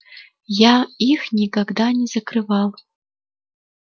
я их никогда не закрывал